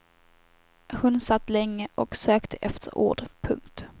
Hon satt länge och sökte efter ord. punkt